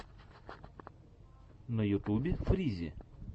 на ютубе фризи